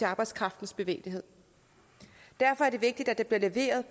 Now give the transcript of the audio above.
arbejdskraftens bevægelighed derfor er det vigtigt at der bliver leveret